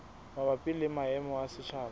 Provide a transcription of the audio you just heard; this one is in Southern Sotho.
mabapi le maemo a setjhaba